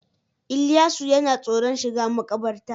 Ilyasu yana tsoron shiga makabarta